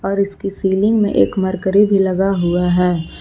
और इसकी सीलिंग में एक मरकरी भी लगा हुआ है।